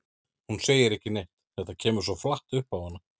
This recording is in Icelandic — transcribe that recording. Hún segir ekki neitt, þetta kemur svo flatt upp á hana.